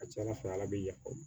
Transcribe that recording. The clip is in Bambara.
A ka ca ala fɛ ala bɛ yafa